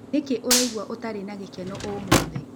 Nĩkĩ ũraĩgũa ũtarĩ na gĩkeno ũmũthĩ?